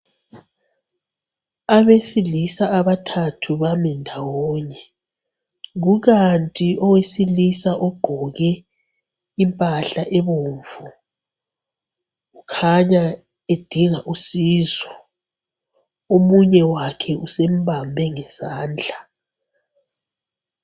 Abesilisa abathathu bami ndawonye, kukanti owesilisa ogqoke impahla ebomvu ukhanya udinga usizo, omunye wakhe usembambe ngesandla